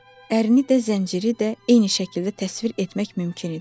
Ərini də, zənciri də eyni şəkildə təsvir etmək mümkün idi.